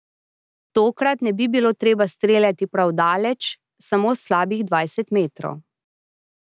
Tokrat ne bi bilo treba streljati prav daleč, samo slabih dvajset metrov.